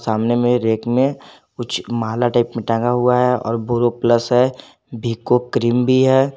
सामने में एक में रैक कुछ माला टाइप मे टगा हुआ है और बोरोप्लस है विको क्रीम भी है।